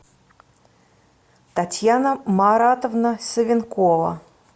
татьяна маратовна савенкова